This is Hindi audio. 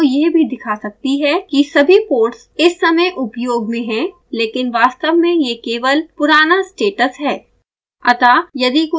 windows आपको यह भी दिखा सकती है कि सभी पोर्ट्स इस समय उपयोग में है लेकिन वास्तव में यह केवाल पुराना स्टेटस है